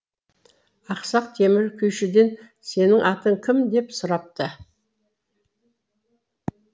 ақсақ темір күйшіден сенің атың кім деп сұрапты